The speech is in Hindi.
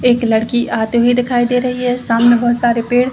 एक लड़की आते हुए दिखाई दे रही है सामने बहुत सारे पेड़ --